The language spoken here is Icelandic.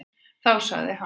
Þá sagði hann: